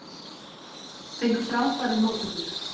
Fengu frábærar móttökur